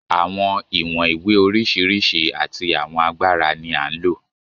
Àwọn ìwọ̀n ìwé oríṣiríṣi àti àwọn agbára ni à ń lò.